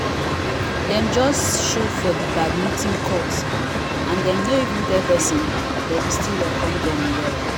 dem just show for the badminton court and dem no even tell person but we still welcome dem well